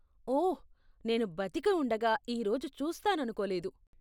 ఓహ్, నేను బతికి ఉండగా ఈ రోజు చూస్తాననుకోలేదు.